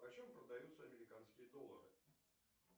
по чем продаются американские доллары